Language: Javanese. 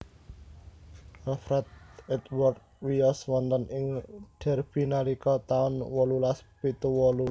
Alfred Edward wiyos wonten ing Derby nalika taun wolulas pitu wolu